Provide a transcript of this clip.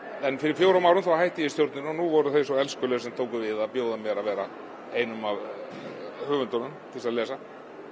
en fyrir fjórum árum hætti ég í stjórninni og nú voru þau svo elskuleg sem tóku við að bjóða mér að vera einum af höfundunum til þess að lesa